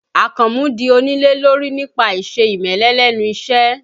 Àkànmú di onílé lórí nípa àìse ìmẹ́lẹ́ lẹ́nu iṣẹ́